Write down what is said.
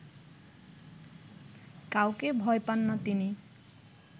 কাউকে ভয় পান না তিনি